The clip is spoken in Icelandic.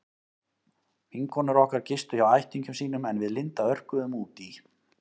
Vinkonur okkar gistu hjá ættingjum sínum en við Linda örkuðum út í